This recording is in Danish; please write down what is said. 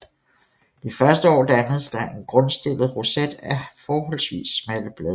Det første år dannes der en grundstillet roset af forholdsvis smalle blade